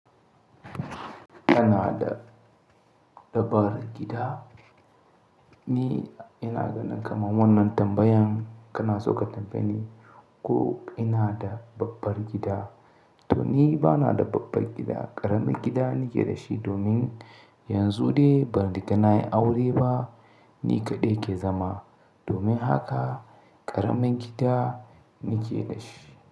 Kana da dabbar gida? Ni ina ganin kamar wannan tambayan kana so ka tambaye ni ko ina da babbar gida. To ni ba na da babbar gida, ƙaramin gida nake da shi domin yanzu dai ban riga na yi aure ba, ni kaɗai ke zama. Domin haka ƙaramin gida nake da shi.